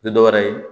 Tɛ dɔ wɛrɛ ye